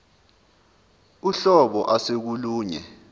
uhlobo ase kolunye